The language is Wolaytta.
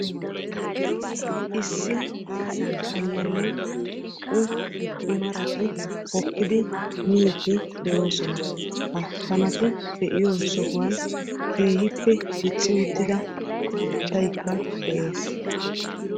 Issi aayo kaaniyaanne naa"u i marati hokkidi miidi de'oosona. ha kanati miiyoo sohuwaan keehippe dicci uttida maataykka de'ees.